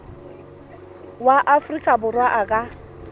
wa afrika borwa a ka